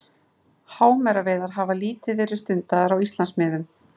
Hámeraveiðar hafa lítið verið stundaðar á Íslandsmiðum.